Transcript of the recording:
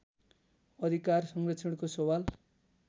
अधिकार संरक्षणको सवाल